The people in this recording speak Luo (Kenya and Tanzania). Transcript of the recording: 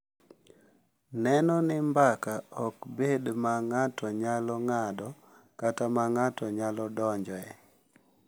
Neno ni mbaka ok bed ma ng’ato nyalo ng’ado kata ma ng’ato nyalo donjoe.